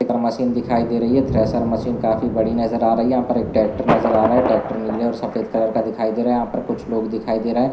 Machine दिखाई दे रही है ठरेशर मशीन काफी बड़ी नजर आ रही हैयहाँ पर एक ट्रेकटर नजर आ रहा है ट्रेकटर नीले और सफेद कलर का दिखाई दे रहा है यहाँ पर कुछ लोग दिखाई दे रहे है।